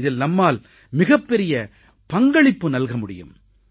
இதில் நம்மால் மிகப் பெரிய பங்களிப்பு நல்க முடியும்